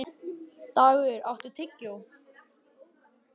Dagur, áttu tyggjó?